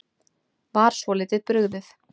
Var svolítið brugðið